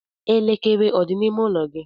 Elekere ọ dị n'ime ụlọ gị?